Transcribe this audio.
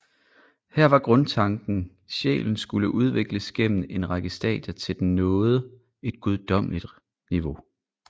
Her var grundtanken sjælen skulle udvikles gennem en række stadier til den nåede et guddommeligt niveau